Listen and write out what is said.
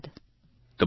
phone call સમાપ્ત